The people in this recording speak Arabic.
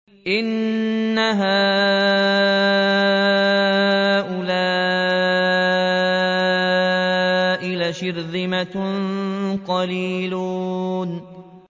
إِنَّ هَٰؤُلَاءِ لَشِرْذِمَةٌ قَلِيلُونَ